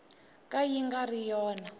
ka yi nga ri yona